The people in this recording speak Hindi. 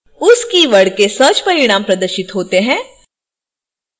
उस keyword के search परिणाम प्रदर्शित होते हैं